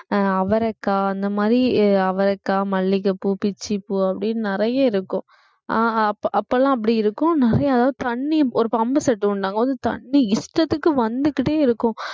அஹ் அவரைக்காய் அந்த மாதிரி அவரைக்காய், மல்லிகைப்பூ, பிச்சிப்பூ அப்படின்னு நிறைய இருக்கும் அஹ் அப்பெல்லாம் அப்படி இருக்கும் நிறைய அதாவது தண்ணி ஒரு pump set உண்டு அங்க தண்ணி இஷ்டத்துக்கு வந்துகிட்டே இருக்கும்